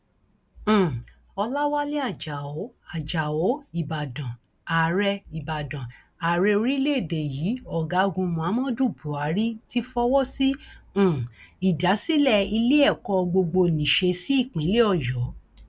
um ọlàwálẹ ajáò ajáò ìbàdàn ààrẹ ìbàdàn ààrẹ orílẹèdè yìí ọgágun muhammadu buhari ti fọwọ sí um ìdásílẹ iléèkọ gbọgbónésẹ sí ìpínlẹ ọyọ